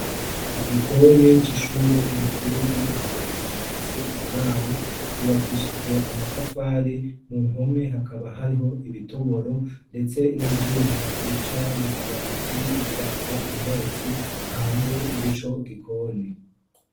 igikoni c'ishure erikuru ryo mu giheta rifise uburaro cubakishijwe amatafari mu mpome hakaba hariho ibitoboro ndetse n'ivyuma bica mu mabati bitwara umwotsi hanze y'ico gikoni